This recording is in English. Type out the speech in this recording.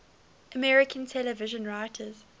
american television writers